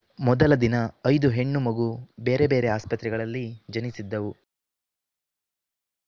ಮೊದಲ ದಿನ ಐದು ಹೆಣ್ಣು ಮಗು ಬೇರೆ ಬೇರೆ ಆಸ್ಪತ್ರೆಗಳಲ್ಲಿ ಜನಿಸಿದ್ದವು